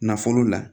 Nafolo la